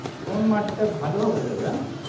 কোন মাটিটা ভালো হবে দাদা